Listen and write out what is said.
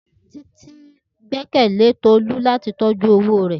Titi gbẹkẹle Tolu lati tọju owo rẹ.